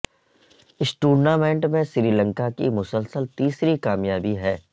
اس tournament میں سری لنکا کی مسلسل تیسری کامیابی ہے